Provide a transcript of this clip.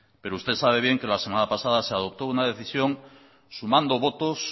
pero usted sabe bien que la semana pasada se adoptó una decisión sumando votos